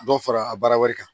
Dɔ fara a baara wɛrɛ kan